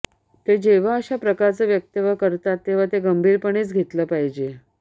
ते जेव्हा अशा प्रकारचं वक्तव्य करतात तेव्हा ते गंभीरपणेच घेतलं पाहिजे